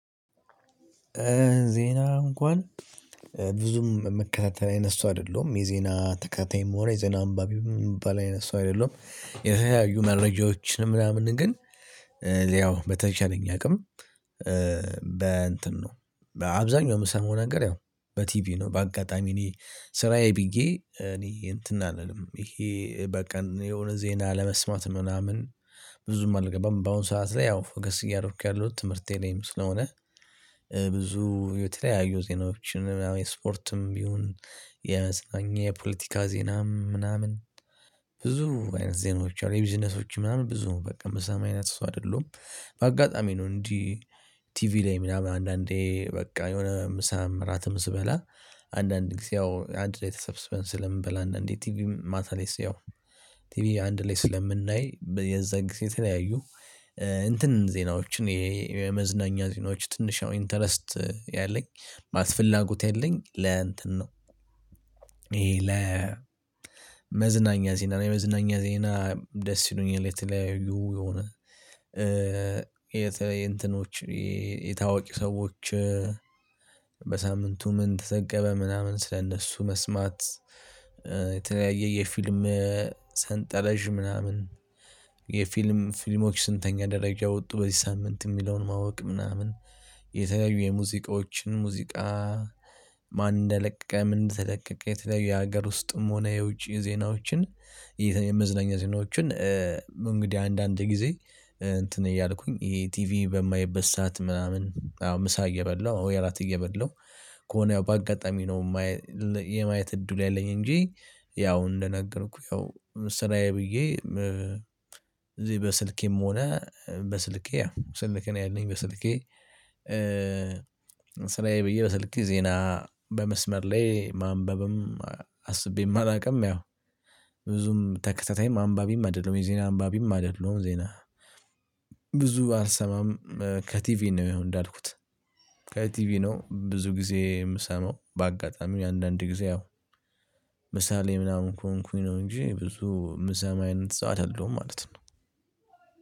ዜና እንኳን ብዙም ምከታተል አይነት ሰው አይደለሁም የዜና ተከታታይም ሆነ የዜና አንባቢም የሚባል አይነት ሰው አይደለሁም። የተለያዩ መረጃዎችን ምናምን ግን። ያው በተቻለኝ አቅም። በእንትን ነው በአብዛኛው የምሰማው ነገር ያው በቲቪ ነው በአጋጣሚ እኔ ስራዬ ብዬ እኔ እንትን አልልም ይሄ በቃ የሆነ ዜና ለመስማት ምናምን። ብዙም አልገባም በአሁን ሰዓት ላይ ያው ፎከስ እያደረኩ ያለሁት ትምህርቴ ላይም ስለሆነ። የተለያዩ ዜናዎችን ምናምን የስፖርትም ይሁን የመዝናኛ የፖለቲካ ዜናም ምናምን ብዙ አይነት ዜናዎች አሉ የቢዝነሶች ምናምን ብዙ በቃ ምሰማ አይነት ሰው አይደለሁም። በአጋጣሚ ነው እንዲህ ቲቪ ላይ ምናምን አንዳንዴ በቃ የሆነ ምሳም እራትም ስበላ። አንዳንድ ጊዜ ያው አንድ ላይ ተሰብስበን ስለምንበላ አንዳንዴ ቲቪ ማታ ላይ ሲያው ቲቪ አንድ ላይ ስለምናይ የዛን ጊዜ የተለያዩ እንትን ዜናዎችን የመዝናኛ ዜናዎች ትንሽ ነው ኢንተረስት ያለኝ ማለት ፍላጎት ያለኝ ለእንትን ነው። ይሄ ለመዝናኛ ዜና የመዝናኛ ዜና ደስ ይሉኛል የተለያዩ የሆነ የእንትኖች ይሄ የታወቂ ሰዎች በሳምንቱ ምን ተጠቀመ ምናምን ስለእነሱ መስማት። የተለያየ የፊልም ሰንጠረዥ ምናምን የፊልም ፊልሞች ስንተኛ ደረጃ ወጡ በዚህ ሳምንት የሚለውን ማወቅ ምናምን። የተለዩ የሙዚቃዎችን ሙዚቃ። ማን እንደለቀቀ ምን እንደተለቀቀ የተለያዩ የሀገር ውስጥም ሆነ የውጪ ዜናዎችን። የመዝነኛ ዜናዎችን። እንግዲህ አንዳንድ ጊዜ እንትን እያልኩኝ ይሄ ቲቪ በማይበት ሰዓት ምናምን አዎ ምሳ እየበላው ወይ እራት እየበላው ከሆነ ያው በአጋጣሚ ነው። የማየት እድሉ ያለኝ እንጂ ያው እንደነገርኩ ያው ስራዬ ብዬ። እዚህ በስልኬም ሆነ በስልኬ ያው በስልኬን ያለኝ በስልኬ። ስራዬ ብዬ በስልኬ ዜና በመስመር ላይ ማንበብም አስቤም አላውቅም ያው። ብዙም ተከታታይም አንባቢም አይደለሁም የዜና አንባቢም አይደለሁም ዜና ብዙ አልሰማም። ከቲቪ ነው ያው እንዳልኩት ከቲቪ ነው ብዙ ጊዜ የምሰማው በአጋጣሚ አንዳንድ ጊዜ ያው። ምሳሌ ምናምን ከሆንኩኝ ነው እንጂ ብዙ ምሰማ አይነት ሰው አይደለሁም ማለት ነው።